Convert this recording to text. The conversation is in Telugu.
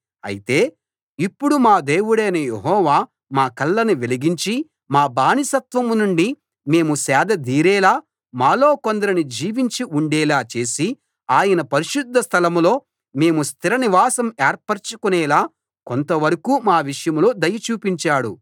అయితే ఇప్పుడు మా దేవుడైన యెహోవా మా కళ్ళను వెలిగించి మా బానిసత్వం నుండి మేము సేదదీరేలా మాలో కొందరిని జీవించి ఉండేలా చేసి ఆయన పరిశుద్ధ స్థలం లో మేము స్థిర నివాసం ఏర్పరచుకొనేలా కొంతవరకూ మా విషయంలో దయ చూపించాడు